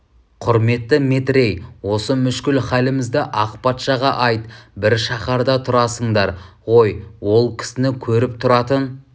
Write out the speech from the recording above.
құрметті метрей осы мүшкіл халімізді ақ патшаға айт бір шаһарда тұрасыңдар ғой ол кісіні көріп тұратын